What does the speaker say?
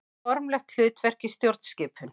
Formlegt hlutverk í stjórnskipun.